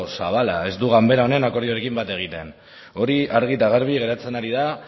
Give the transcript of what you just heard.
zabala ez du ganbara honen akordioekin bat egiten hori argi eta garbi geratzen ari da